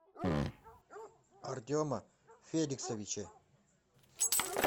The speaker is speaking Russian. артема феликсовича